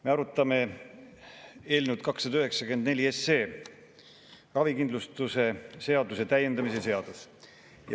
Me arutame eelnõu 294, ravikindlustuse seaduse täiendamise seadust.